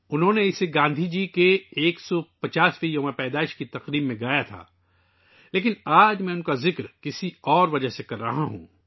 انہوں نے اسے گاندھی جی کے 150ویں یوم پیدائش کی تقریبات کے دوران گایا تھا لیکن آج میں ، اس پر کسی اور وجہ سے بات کر رہا ہوں